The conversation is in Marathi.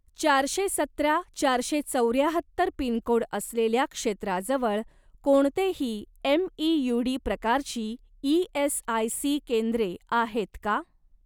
चारशे सतरा चारशे चौऱ्याहत्तर पिनकोड असलेल्या क्षेत्राजवळ कोणतेही एमईयूडी प्रकारची ई.एस.आय.सी. केंद्रे आहेत का?